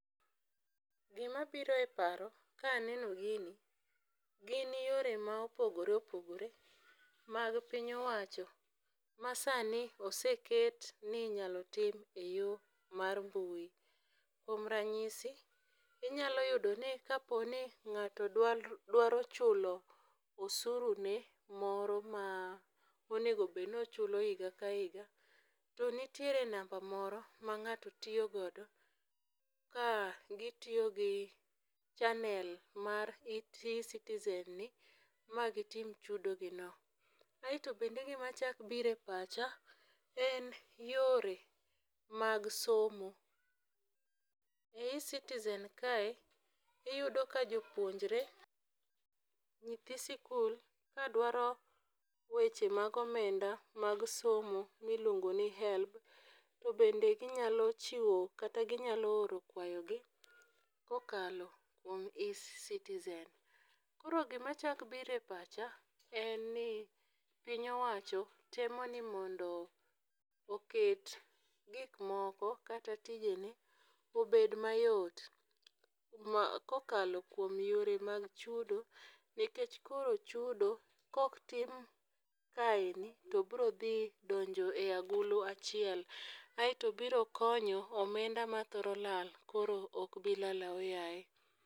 Gima biro e paro ka aneno gini, gin yore ma opogore opogore mag piny owacho ma sani oseket ni inyalo tim e yo mar mbui. Kuom ranyisi, inyalo yudo ni ka po ni ng'ato dwa, dwaro chulo osuru ne moro ma onego bed ni ochulo higa ka higa, to nitiere namba moro ma ng'ato tiyo godo, ka gitiyo gi channel mae ecitizen ni, mondo gitim chudo gi no. Aeto bende, gimachak biro e pacha en yore mag somo. E ecitizen kae, iudo ka jopuonjore, nyithi sikul, ka dwaro weche mag omenda mag somo ma iluongo ni HELB, to bende ginyalo chiwo, kata ginyalo oro kwayo gi, kokalo kuom ecitizen. Koro gima chak biro e pacha en ni piny owacho temo ni mondo oket gik moko, kata tijene, obed mayo, ma kokalo kuom yore mag chudo. Nikech koro chudo ka ok tim kaendi to biro dhi donjo e agulu achiel. Aeto biro konyo omenda mathoro lal, koro okbilal ahoyaye.